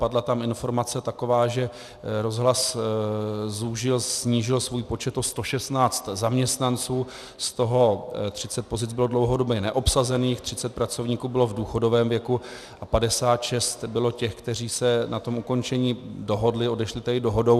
Padla tam informace taková, že rozhlas zúžil, snížil svůj počet o 116 zaměstnanců, z toho 30 pozic bylo dlouhodoběji neobsazených, 30 pracovníků bylo v důchodovém věku a 56 bylo těch, kteří se na tom ukončení dohodli, odešli tedy dohodou.